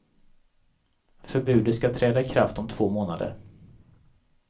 Förbudet ska träda i kraft om två månader.